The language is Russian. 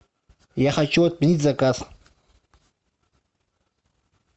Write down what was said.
я хочу отменить заказ